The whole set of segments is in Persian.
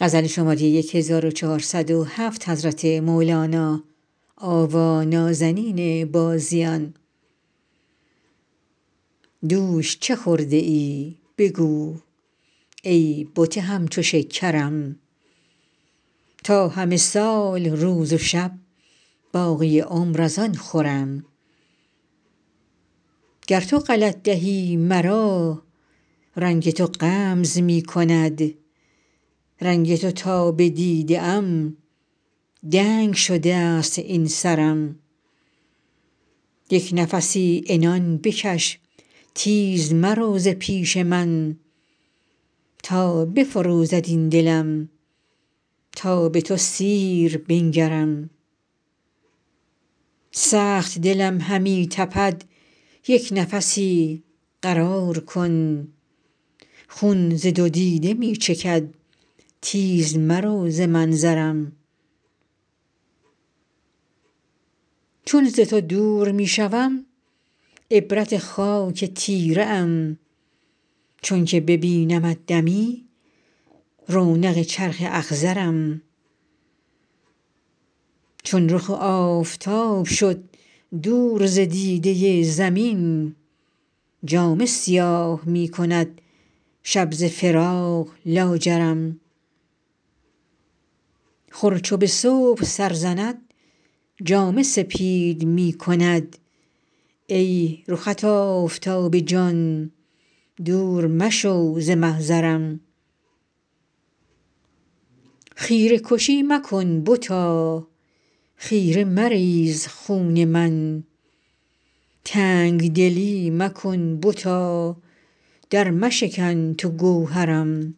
دوش چه خورده ای بگو ای بت همچو شکرم تا همه سال روز و شب باقی عمر از آن خورم گر تو غلط دهی مرا رنگ تو غمز می کند رنگ تو تا بدیده ام دنگ شده ست این سرم یک نفسی عنان بکش تیز مرو ز پیش من تا بفروزد این دلم تا به تو سیر بنگرم سخت دلم همی تپد یک نفسی قرار کن خون ز دو دیده می چکد تیز مرو ز منظرم چون ز تو دور می شوم عبرت خاک تیره ام چونک ببینمت دمی رونق چرخ اخضرم چون رخ آفتاب شد دور ز دیده زمین جامه سیاه می کند شب ز فراق لاجرم خور چو به صبح سر زند جامه سپید می کند ای رخت آفتاب جان دور مشو ز محضرم خیره کشی مکن بتا خیره مریز خون من تنگ دلی مکن بتا درمشکن تو گوهرم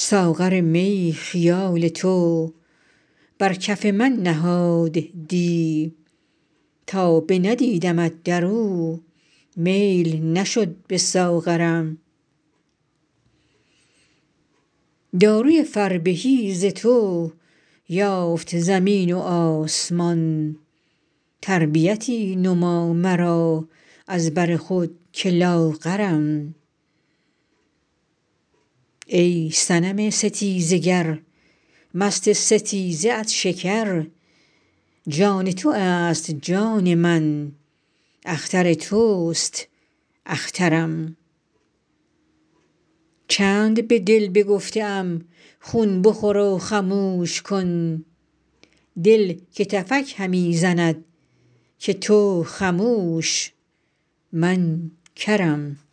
ساغر می خیال تو بر کف من نهاد دی تا بندیدمت در او میل نشد به ساغرم داروی فربهی ز تو یافت زمین و آسمان تربیتی نما مرا از بر خود که لاغرم ای صنم ستیزه گر مست ستیزه ات شکر جان تو است جان من اختر توست اخترم چند به دل بگفته ام خون بخور و خموش کن دل کتفک همی زند که تو خموش من کرم